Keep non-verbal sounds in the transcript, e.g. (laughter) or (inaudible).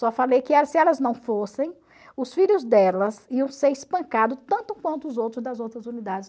Só falei que (unintelligible) se elas não fossem, os filhos delas iam ser espancados tanto quanto os outros das outras unidades.